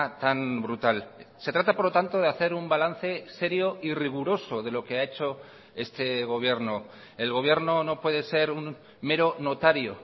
tan brutal se trata por lo tanto de hacer un balance serio y riguroso de lo que ha hecho este gobierno el gobierno no puede ser un mero notario